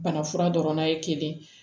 Bana fura dɔrɔnna ye kelen ye